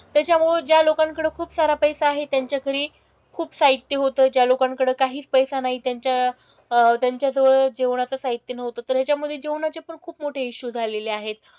त्याच्यामुळे ज्या लोकांकडं खुपसारा पैसा आहे त्यांच्याकडे खूप साहित्य होतं. ज्या लोकांकडं काहीच पैसा नाही त्यांच्या अह त्यांच्याजवळ जेवणाचं साहित्य नव्हतं. तर ह्याच्यामधे जेवणाचे पण खूप मोठे इशू झालेले आहेत.